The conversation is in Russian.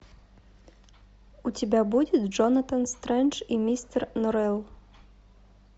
у тебя будет джонатан стрендж и мистер норрелл